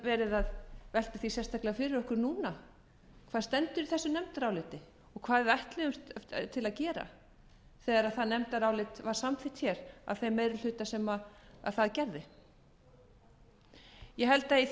að velta því sérstaklega fyrir okkur núna hvað stendur í þessu nefndaráliti og hvað við ætluðumst til að gera þegar það nefndarálit var samþykkt af þeim meiri hluta sem það gerði ég held að